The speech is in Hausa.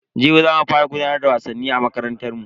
Jibi za mu fara gudanar da wasannin a makarantar mu.